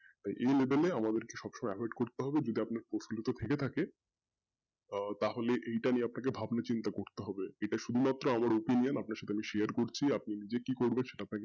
ওই level এ আমাদেরকে সবসময় avoid করতে হবে যদি আপনার থাকে আহ তাহলে এইটা নিয়ে আপনাকে ভাবনা চিন্তা করতে হবে এটা শুধুমাত্র আমার opinion আপনার সাথে আমি share করছি আপনি নিজে কি করবেন সেটা আপনাকে,